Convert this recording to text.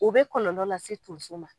U bɛ kɔlɔlɔ la se tonso ma.